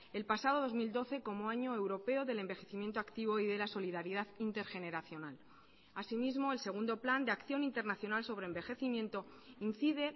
el pasado dos mil doce como año europeo del envejecimiento activo y de la solidaridad intergeneracional asimismo el segundo plan de acción internacional sobre envejecimiento incide